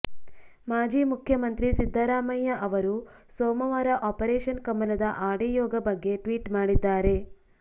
ಮಾಜಿ ಮುಖ್ಯಮಂತ್ರಿ ಸಿದ್ದರಾಮಯ್ಯ ಅವರು ಸೋಮವಾರ ಆಪರೇಷನ್ ಕಮಲದ ಆಡಿಯೋಗ ಬಗ್ಗೆ ಟ್ವೀಟ್ ಮಾಡಿದ್ದಾರೆ